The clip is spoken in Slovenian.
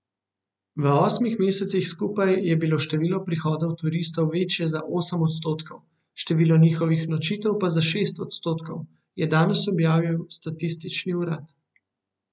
V osmih mesecih skupaj je bilo število prihodov turistov večje za osem odstotkov, število njihovih nočitev pa za šest odstotkov, je danes objavil statistični urad.